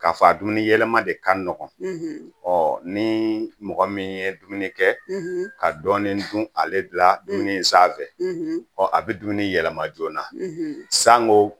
K'a fɔ a dumuniyɛlɛma de ka nɔgɔn ni mɔgɔ min ye dumuni kɛ ka dɔɔnin dun ale la dumuni sanfɛ ɔ a bɛ dumuni yɛlɛma joona sango